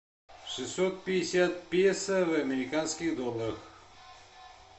шестьсот пятьдесят песо в американских долларах